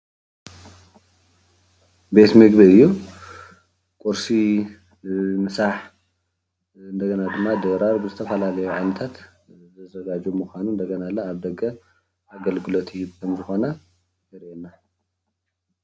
ቤት ምግቢ እዩ። ቁርሲ፣ ምሳሕ፣ እንደገና ድማ ድራር ብዝተፈላለዩ ዓይነታት ዘዘጋጁ ምካኑ እንደገና ለ ኣብ ደገ ኣገልግሎት ይህብ ከምዝኮኾነ የርእየና።